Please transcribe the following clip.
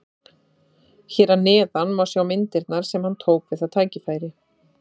Hér að neðan má sjá myndirnar sem hann tók við það tækifæri.